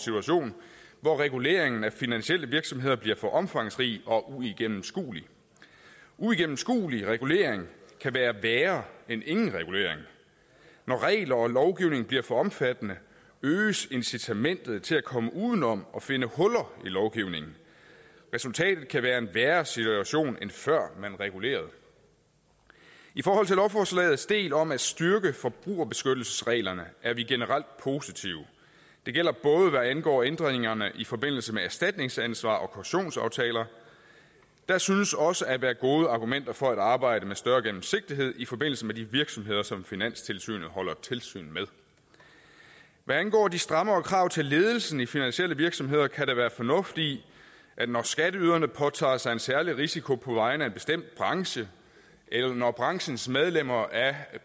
situation hvor reguleringen af finansielle virksomheder bliver for omfangsrig og uigennemskuelig uigennemskuelig regulering kan være værre end ingen regulering når regler og lovgivning bliver for omfattende øges incitamentet til at komme udenom og finde huller i lovgivningen resultatet kan være en værre situation end før man regulerede i forhold til lovforslagets del om at styrke forbrugerbeskyttelsesreglerne er vi generelt positive det gælder både hvad angår ændringerne i forbindelse med erstatningsansvar og kautionsaftaler der synes også at være gode argumenter for at arbejde med større gennemsigtighed i forbindelse med de virksomheder som finanstilsynet holder tilsyn med hvad angår de strammere krav til ledelsen i finansielle virksomheder kan der være fornuft i at når skatteyderne påtager sig en særlig risiko på vegne af en bestemt branche eller når branchens medlemmer af